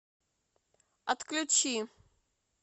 отключи